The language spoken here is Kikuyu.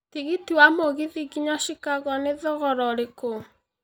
tigiti wa mũgithi nginya Chicago nĩthogora ũrĩkũ